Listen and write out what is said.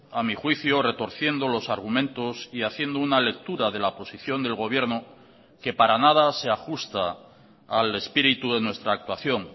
a mi juicio retorciendo los argumentos y haciendo una lectura de la posición del gobierno que para nada se ajusta al espíritu de nuestra actuación